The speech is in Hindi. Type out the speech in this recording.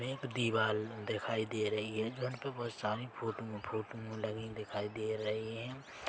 एक दीवाल दिखाई दे रही है फ्रंट पर बोहोत सारे फोठुन फोटो लगेन दिखाई दे रही हैं।